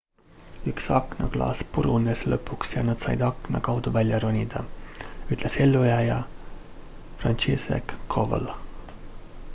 üks aknaklaas purunes lõpuks ja nad said akna kaudu välja ronida ütles ellujääja franciszek kowal